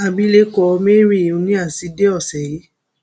abilékọ mary nnea zijdee ọsẹ yìí